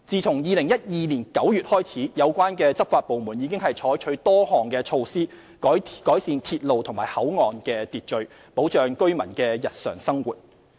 自2012年9月起，有關執法部門已採取多項措施，改善鐵路和口岸的秩序，保障居民的日常生活。